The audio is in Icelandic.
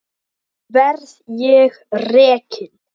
Verð ég rekinn?